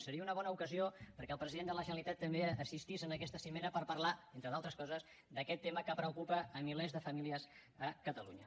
seria una bona ocasió perquè el president de la generalitat també assistís en aquesta cimera per parlar entre d’altres coses d’aquest tema que preocupa milers de famílies a catalunya